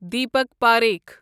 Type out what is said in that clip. Deepak Parakh